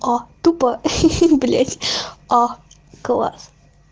тупо блять а класс